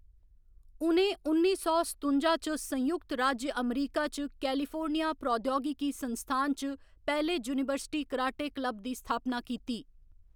उ'नें उन्नी सौ सतुंजा च संयुक्त राज्य अमेरिका च कैलिफोर्निया प्रौद्योगिकी संस्थान च पैह्‌‌ले यूनीवर्सिटी कराटे क्लब दी स्थापना कीती।